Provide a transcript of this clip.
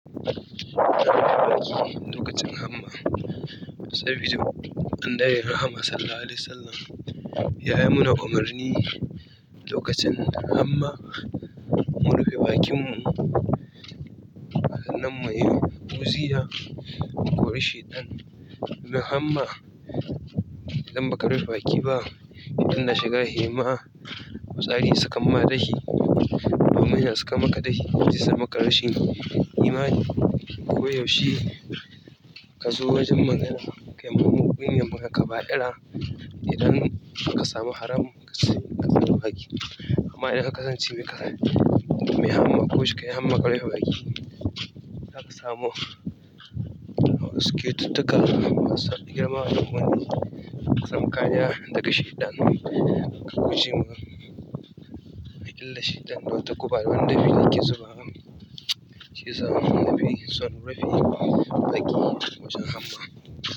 Lokacin hamma sabida an dai yi Rahama Sallallahu Alaihi Wasallam ya yi mana umarni lokacin hamma mu rufe bakinmu. Nan mai wuya mu kori shaitan. Da hamma idan ba ka rufe baki ba, shedan na shiga yayi ma, fitsari sukan ma dashi. Domin ina saka maka dasfi, sun saka maka rashin imani. Ko yaushe ka zo wajen magana, kai kuma muƙamin ne kuma ka baƙi ira, idan ka samu haram ka tafi ka rufe baki. Hamma idan ka gani ci mi ka hai, da hamma ko shuka ya hamma ka rufe baki. Da ka samu wasu cuttuka, masa, girma, da muni, tsamka, ya daka shiɗan ka kuje ma. Idan shiɗan wata ku bari banda fili ke zuba, ke zuba, nafi son rufe baki wajen hamma.